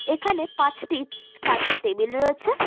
এখানে পাঁচটি-ট কাচের টেবিল রয়েছে।